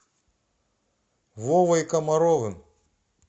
вовой комаровым